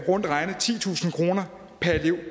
rundt regnet titusind kroner per elev